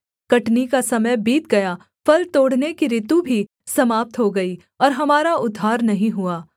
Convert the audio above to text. कटनी का समय बीत गया फल तोड़ने की ॠतु भी समाप्त हो गई और हमारा उद्धार नहीं हुआ